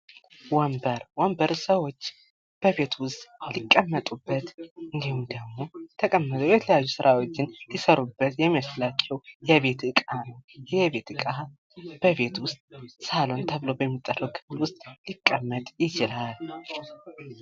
ወንበር ፦ ወንበር ሰዎች በቤት ውስጥ ሊቀመጡበት እንዲሁም ደግሞ ተቀምጠው የተለያዩ ስራዎችን ሊሰሩበት የሚያስችላቸው የቤት እቃ ነው ። ይሄ የቤት እቃ በቤት ውስጥ ሳሎን ተብሎ ሚጠራው ክፍል ውስጥ ሊቀመጥ ይችላል ።